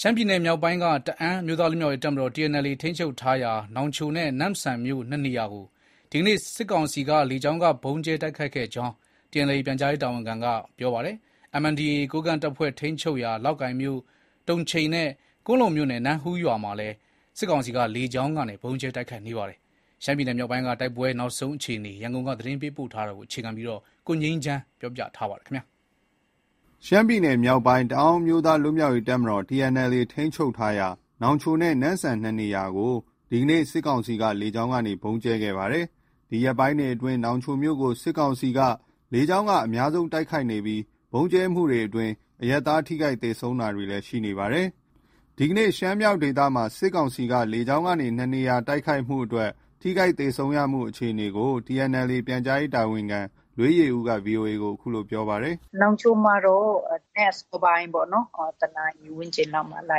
ရှမ်းပြည်နယ်မြောက်ပိုင်းက တအန်းအမျိုးသားလွတ်မြောက်ရေး တပ်မတော် TNLA ထိန်းချုပ်ထားရာ နောင်ချိုနဲ့ နမ့်ဆန်မြို့ ၂နေရာကို ဒီကနေ့ စစ်ကောင်စီ လေကြောင်းက ဗုံးကြဲတိုက်ခိုက်ခဲ့ကြောင်း TNLA ပြန်ကြားရေးတာဝန်ခံက ပြောပါတယ်။ NDAA ကိုးကန့်တပ်ဖွဲ့ ထိန်းချုပ်ရာ လောက်ကိုင်မြို့၊ တုံချိန်နဲ့ ကွမ်းလုံမြို့နယ် နမ့်ဟူးရွာမှာလည်း စစ်ကောင်စီက လေကြောင်းက ဗုံးကြဲတိုက်ခိုက်နေပါတယ်။ ရှမ်ပြည်းမြောက်ပိုင်းက တိုက်ပွဲနောက်ဆုံးအခြေအနေ ရန်ကုန်က သတင်းပေးပို့ထားပါတယ်။ ရှမ်းပြည်နယ်မြောက်ပိုင်း တအန်းအမျိုးသားလွတ်မြောက်ရေး တပ်မတော် TNLA ထိန်းချုပ်ထားရာ နောင်ချိုနဲ့ နမ့်ဆန်မြို့ ၂နေရာကို ဒီကနေ့ စစ်ကောင်စီ လေကြောင်းက ဗုံးကြဲတိုက်ခိုက်ခဲ့ပါတယ်။ ဒီရက်ပိုင်းတွေအတွင်း နောင်ချိုမြို့ကို စစ်ကောင်စီ လေကြောင်းက အများဆုံးတိုက်ခိုက်နေပြီး ဗုံးကြဲတိုက်ခိုက်မှုအတွင်း အရပ်သားထိခိုက် သေဆုံးတာတွေရှိနေပါတယ်။ ဒီကနေ့ ရှမ်းမြောက်ဒေသမှာ စစ်ကောင်စီက လေကြောင်းက ၂နေရာ တိုက်ခိုက်မှု ထိခိုက်သေဆုံးမှုအခြေအနေ TNLA ပြန်ကြားရေးတာဝန်ခံ လွေးယေဦးက VOA ကို ပြောပါတယ်။ “ နောင်ချိုမှာတော့ မနက်အစောပိုင်း ၁နာရီဝန်းကျင်လောက်မှာ လာ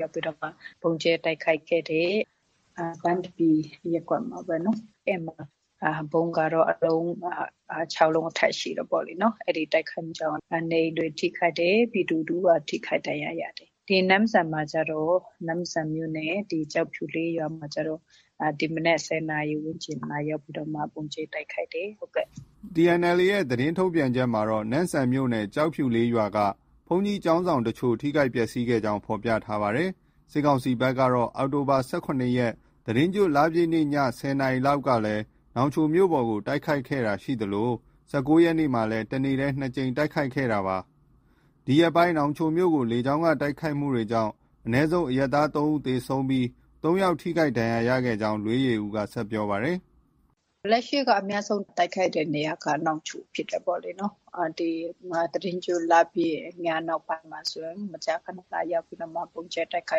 ရောက်ပြီးတော့မှ ဗုံးကြဲတိုက်ခိုက်ခဲ့တယ်။ ပန်းသပြေရပ်ကွက်မှာပေါ့နော်။ အဲဒီမှာ ဗုံးကတော့ ၆လုံးအထက် ရှိတယ်ပေါ့။ အဲဒီတိုက်ခိုက်မှုကြောင့် နေအိမ်တွေ ထိခိုက်တယ်။ ပြည်သူ တဦးက ထိခိုက်ဒဏ်ရာရတယ်။ ဒီနမ့်ဆန်မှာကျတော့ နမ့်ဆန်မြို့နယ် ကျောက်ဖြူလေးရွာမှာကျတော့ ဒီမနက် ၁၀နာရီ ဝန်းကျင်မှာ လာရောက်ပြီးတော့မှ ဗုံးကြဲတိုက်ခိုက်တယ်။” TNLA ရဲ့ သတင်းထုတ်ပြန်ချက်မှာတော့ နမ့်ဆန်မြို့နယ် ကျောက်ဖြူလေးရွာက ဘုန်းကြီးကျောင်းဆောင်အချို့ ထိခိုက်ပျက်စီးခဲ့ကြောင်း ဖော်ပြထားပါတယ်။ စစ်ကောင်စီဘက်က အောက်တိုဘာလ ၁၇ရက်၊ သီတင်းကျွတ်လပြည့်နေ့ ည ၁၀နာရီခန့်ကလည်း နောင်ချိုမြို့ပေါ်ကို တိုက်ခိုက်ခဲ့တာရှိသလို ၁၉ရက်နေ့မှာလည်း တနေ့တည်း ၂ကြိမ် တိုက်ခိုက်ခဲ့တာပါ။ ဒီရက်ပိုင်းနောင်ချိုမြို့ကို လေကြောင်းတိုက်ခိုက်မှုကြောင့် အနည်းဆုံး အရပ်သား ၃ဦးသေဆုံးပြီး ၃ယောက်ထိခိုက်ခဲ့ကြောင်းလည်း လွေးယေဦးက ဆက်ပြောပြပါတယ်။ “ လက်ရှိက အများဆုံး တိုက်ခိုက်တဲ့နေရာက နောင်ချိုဖြစ်တယ်ပေါ့လေ။ သီတင်းကျွတ်လပြည့်ညနောက်ပိုင်းမှာဆိုရင် မကြာခန လာရောက်ပြီးတော့မှ ဗုံးကြဲတိုက်ခို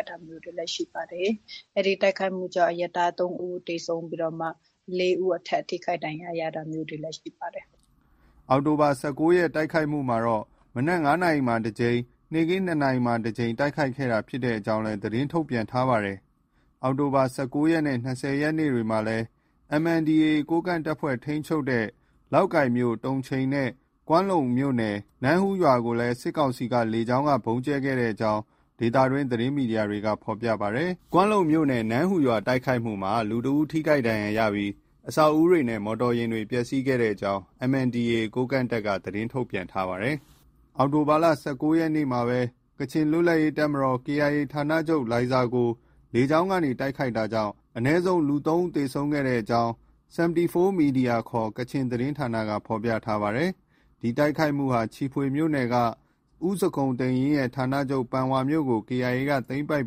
က်တာမျိုးတွေလည်း ရှိပါတယ်။ အဲဒီတိုက်ခိုက်မှုကြောင့် အရပ်သား ၃ဦးသေဆုံးပြီး၊ ၄ဦးအထက် ထိခိုက်ဒဏ်ရာရတာမျိုးတွေလည်း ရှိပါတယ်။” အောက်တိုဘာလ ၁၉ရက်နေ့ တိုက်ခိုက်မှုမှာ မနက် ၅နာရီလောက်မှာ ၁ကြိမ်နဲ့ နေ့ခင်း ၂နာရီခန့်မှာတကြိမ် တိုက်ခိုက်ခဲ့တာ ဖြစ်ကြောင်းလည်း သတင်းထုတ်ပြန်ထားပါတယ်။ အောက်တိုဘာလ ၁၉ရက်နေ့နဲ့ ၂၀ရက်နေ့တွေမှာလည်း MNDAA ကိုးကန့်တပ်ဖွဲ့ ထိန်းချုပ်ရာ လောက်ကိုင်မြို့၊ တုံချိန်နဲ့ ကွမ်းလုံမြို့နယ် နမ့်ဟူးရွာမှာ စစ်ကောင်စီက လေကြောင်းက ဗုံးကြဲတိုက်ခိုက်ခဲ့ကြောင်း ဒေသတွင်း သတင်းမီဒီယာတွေက ဖော်ပြကြပါတယ်။ MNDAA ကတော့ ကွမ်းလုံမြို့နယ် နမ့်ဟူးရွာ တိုက်ခိုက်မှုမှာ လူတဦး ထိခိုက်ဒဏ်ရာရပြီး အဆောက်အဦးတွေနဲ့ မော်တော်ယာဉ်တွေ ပျက်စီးခဲ့ကြောင်း သတင်းထုတ်ပြန်ထားပါတယ်။ အောက်တိုဘာလ ၁၉ရက်နေ့မှာပဲ ကချင်လွတ်လပ်ရေးတပ်မတော် KIA ဌာနချုပ် လိုင်ဇာကို လေကြောင်းက တိုက်ခိုက်တာကြောင့် အနည်းဆုံး လူ ၃ဦးသေဆုံးခဲ့ကြောင်း The 74 media ခေါ် ကချင်သတင်းဌာနက ဖော်ပြပါတယ်။ ဒီတိုက်ခိုက်မှုဟာ ချီဖွေမြို့နယ်က ဦးဇခုန်တိန့်ယိန်းရဲ့ ဌာနချုပ် ပန်ဝါမြို့ကို KIA က သိမ်းပိုက်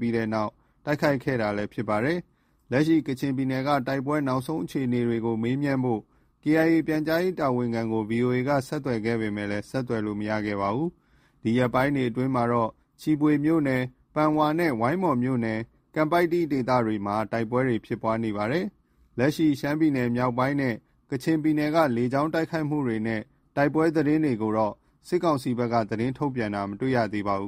ပြီးနောက် တိုက်ခိုက်လာတာလည်း ဖြစ်ပါတယ်။ လက်ရှိ ကချင်ပြည်နယ်က တိုက်ပွဲနောက်ဆုံးအခြေအနေကို မေးမြန်းဖို့ KIA ပြန်ကြားရေးတာဝန်ခံကို VOA က ဆက်သွယ်ခဲ့ပေမဲ့ ဆက်သွယ်လို့ မရခဲ့ပါဘူး။ ဒီရက်ပိုင်းတွေမှာတော့ ချီဖွေမြို့နယ် ပန်ဝါနဲ့ ဝိုင်းမော်မြို့နယ် ကန်ပိုက်တီဒေသတွေမှာ တိုက်ပွဲတွေ ဖြစ်ပွားနေပါတယ်။ လက်ရှိ ရှမ်းမြောက်နဲ့ ကချင်ပြည်နယ်က လေကြောင်းတိုက်ခိုက်မှုနဲ့ တိုက်ပွဲသတင်းတွေကိုတော့ စစ်ကောင်စီဘက်က ထုတ်ပြန်တာ မတွေ့ ရပါဘူး